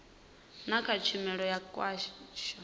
na kha tshumelo ya khasho